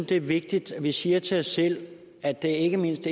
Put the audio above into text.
det er vigtigt at vi siger til os selv at det ikke mindst